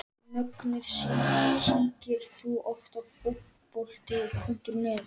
Mögnuð síða Kíkir þú oft á Fótbolti.net?